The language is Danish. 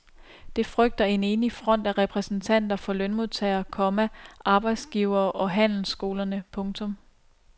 Det frygter en enig front af repræsentanter for lønmodtagere, komma arbejdsgivere og handelsskolerne. punktum